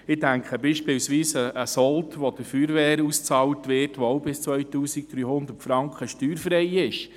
Ich denke beispielsweise an den Sold, welcher der Feuerwehr ausbezahlt wird und auch bis zu 2300 Franken steuerfrei ist.